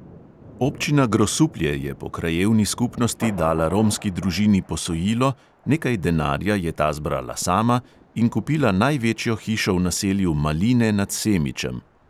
Občina grosuplje je po krajevni skupnosti dala romski družini posojilo, nekaj denarja je ta zbrala sama in kupila največjo hišo v naselju maline nad semičem.